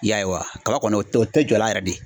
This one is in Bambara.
I y'a ye wa. Kaba kɔni o te jɔ la yɛrɛ de.